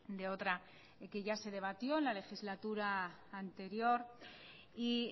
de otra que ya se debatió en la legislatura anterior y